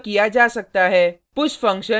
इसका उपयोग करके यह किया जा सकता है